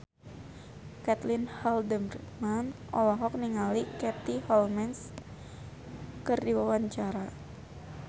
Caitlin Halderman olohok ningali Katie Holmes keur diwawancara